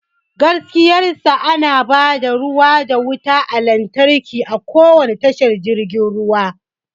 Gaskiyar sa, ana ba da ruwa da wutar lantarki a kowane tashar jirgin ruwa.